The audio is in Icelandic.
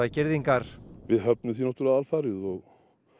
girðingar við höfnum því náttúrulega alfarið og